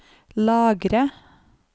lagre